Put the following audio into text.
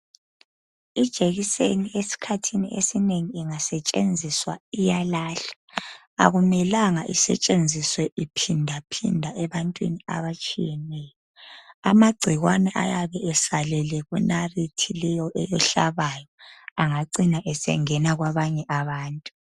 Ijekiseni esikhathini esinengi ingasetshenziswa iyalahlwa akumelanga isetshenziswe iphinda phinda ebantwini abatshiyeneyo amagcikwane ayabe esalele kunalithi leyo ehlabayo angagcina esengena kwabanye bantu.